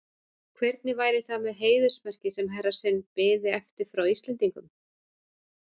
Hvernig væri það með heiðursmerkið, sem herra sinn biði eftir frá Íslendingum?